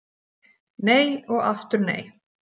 Nei og aftur nei.